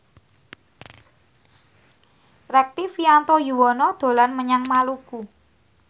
Rektivianto Yoewono dolan menyang Maluku